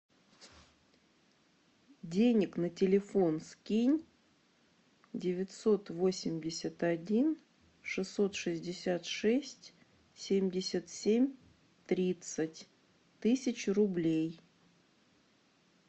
денег на телефон скинь девятьсот восемьдесят один шестьсот шестьдесят шесть семьдесят семь тридцать тысячу рублей